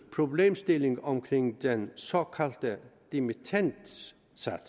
problemstilling omkring den såkaldte dimittendsats